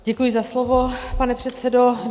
Děkuji za slovo, pane předsedo.